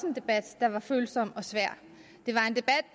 en debat der var følsom og svær det